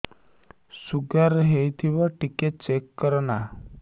sugar ହେଇଥିବ ଟିକେ check କର ନା